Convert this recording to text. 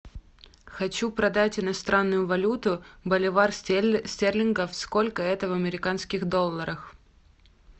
хочу продать иностранную валюту боливар стерлингов сколько это в американских долларах